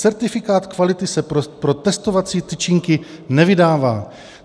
Certifikát kvality se pro testovací tyčinky nevydává.